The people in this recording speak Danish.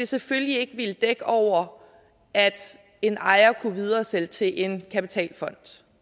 selvfølgelig ikke ville dække over at en ejer ikke kunne videresælge til en kapitalfond